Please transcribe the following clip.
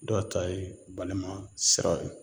Dɔw ta ye balimaya sira ye